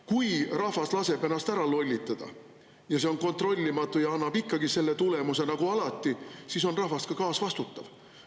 Kui rahvas laseb ennast ära lollitada ja see on kontrollimatu ja annab ikkagi selle tulemuse nagu alati, siis on rahvas ka kaasvastutav.